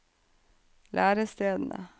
lærestedene